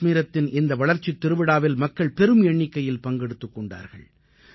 காஷ்மீரத்தின் இந்த வளர்ச்சித் திருவிழாவில் மக்கள் பெரும் எண்ணிக்கையில் பங்கெடுத்துக் கொண்டார்கள்